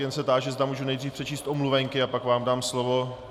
Jen se táži, zda můžu nejdříve přečíst omluvenky, a pak vám dám slovo.